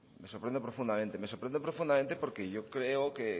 me sorprende profundamente me sorprende profundamente porque yo creo o